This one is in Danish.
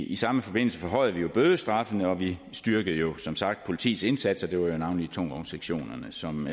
i samme forbindelse forhøjede vi jo bødestraffen og vi styrkede jo som sagt politiets indsats og det var jo navnlig tungvognssektionen som